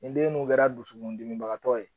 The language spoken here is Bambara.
Nin den dun kɛra dusukundimibagatɔ ye